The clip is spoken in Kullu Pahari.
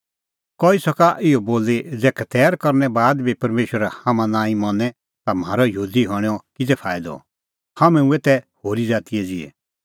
कई सका इहअ बोली ज़ै खतैर करनै का बाद बी परमेशर हाम्हां नांईं मनें ता म्हारअ यहूदी हणैंओ किज़ै फाईदअ हाम्हैं हुऐ तै होरी ज़ाती ज़िहै ई